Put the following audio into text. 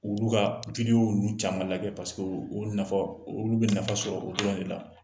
Olu ka ninnu caman lajɛ olu bɛ nafa sɔrɔ o dɔrɔn de la